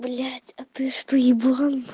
блять а ты что еблан